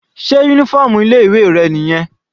Sé uniform ilé ìwé rẹ̀ nìyẹn?